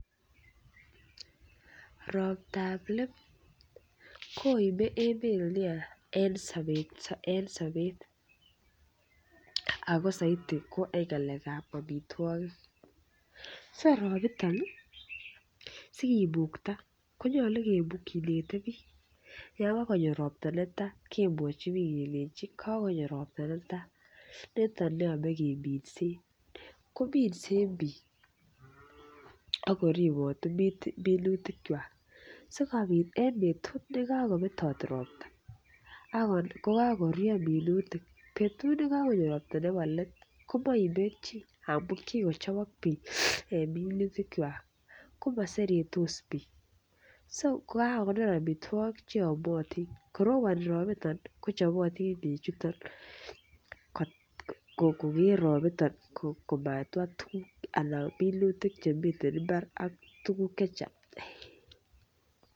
Roptap let koime emet nia en sobet ako soiti ko en ng'alek ab amitwogik so robiton ih sikimukta konyolu kinete biik yon kanyo ropta netaa kemwochi biik kelenji kakanyo ropta netaa niton neyome keminsen kominsen biik ako ribot minutik kwak sikobit en betut nekakobetot ropta kokakoruryo minutik betut nekakonyo ropta nebo let komoime chii amu kikochobok biik en minutik kwak komoseretos biik kokakonor amitwogik cheyomotin ngoroboni robiton ih kochobotin bichuton koker robiton komatwaa tuguk anan minutik chemiten mbar ak tuguk chechang